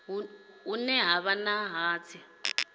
hune ha vha na hatsi